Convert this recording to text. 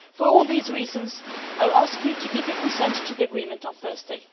For all these reasons, I would ask you to give your consent to the agreement on Thursday.